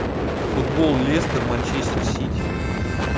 футбол лестер манчестер сити